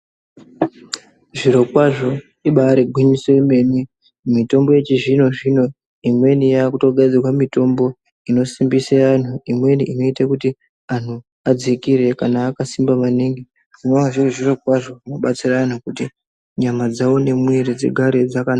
Zviro kwazvo ibaari gwinyiso remene mitombo yechizvino-zvino imweni yakutogadzirwa mitombo inosimbisa antu imweni inoita kuti antu adzikire kana akasimba maningi zvinova zviri zviro kwazvo kubatsirana kuti nyama dzawo ngemwiri dzigare dzakanaka.